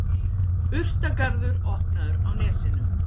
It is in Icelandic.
Urtagarður opnaður á Nesinu